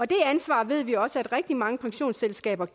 det ansvar ved vi også at rigtig mange pensionsselskaber